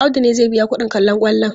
Audu ne zai biya kuɗin kallon kwallon.